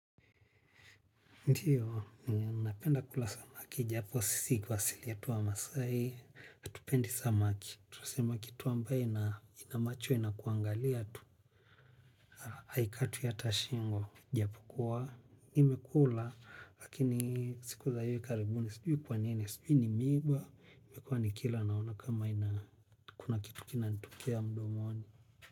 Ndiyo, ninapenda kula samaki, japo sisi kwa asili yetu wamasai, hatupendi samaki. Tunasema kitu ambaye ina ina macho inakuangalia tu, haikatwi hata shingo. Japokuwa, nimekula, lakini siku za hivi karibuni, sijui kwa nini, sijui ni miba, nimekuwa nikila naona kama ina kuna kitu kinanitokea mdomoni.